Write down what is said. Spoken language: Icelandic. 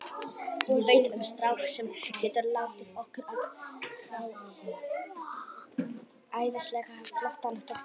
Ég veit um strák sem getur látið okkur fá æðislega flottan toppara.